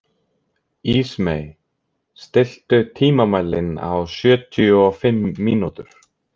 Ísmey, stilltu tímamælinn á sjötíu og fimm mínútur.